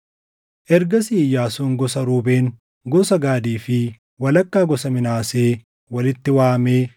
Ergasii Iyyaasuun gosa Ruubeen, gosa Gaadii fi walakkaa gosa Minaasee walitti waamee